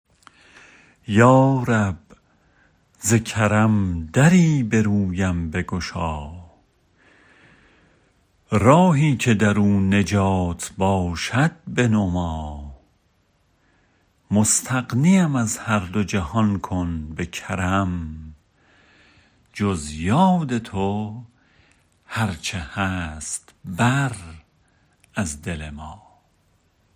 یا رب ز کرم دری برویم بگشا راهی که درو نجات باشد بنما مستغنیم از هر دو جهان کن به کرم جز یاد تو هرچه هست بر از دل ما